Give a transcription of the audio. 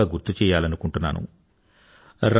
ఒకసారి ముందుగా గుర్తుచెయ్యాలనుకుంటున్నాను